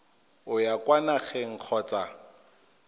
o ya kwa nageng kgotsa